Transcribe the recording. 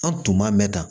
An tuman mɛ tan